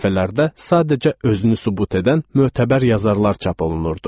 Bu səhifələrdə sadəcə özünü sübut edən mötəbər yazarlar çap olunurdu.